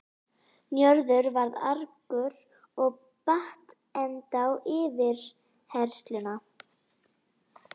Njörður varð argur og batt enda á yfirheyrsluna.